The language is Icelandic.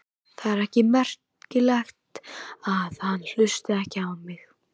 Það er ekki merkilegt að hann hlusti ekki á mig.